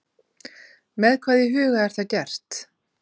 Með hvað í huga er það gert?